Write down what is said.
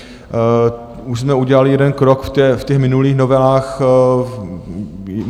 Už jsme udělali jeden krok v těch minulých novelách.